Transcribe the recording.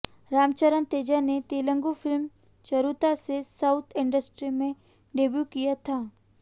रामचरण तेजा ने तेलगु फिल्म चिरुता से south industry में डेब्यू किया था